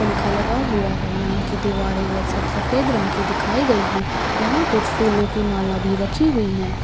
पंखा लगा हुआ है यहाँ की दीवारे वे छत सफ़ेद रंग की दिखाई गई है यहां कुछ फूलो की माला भी रखी हुई है।